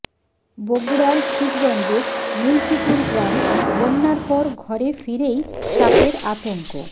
বগুড়ার শিবগঞ্জের মিল্কীপুর গ্রাম বন্যার পর ঘরে ফিরেই সাপের আতঙ্ক